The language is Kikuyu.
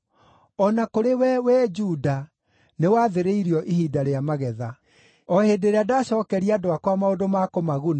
“O na kũrĩ we, wee Juda, nĩwathĩrĩirio ihinda rĩa magetha. “O hĩndĩ ĩrĩa ndaacookeria andũ akwa maũndũ ma kũmaguna,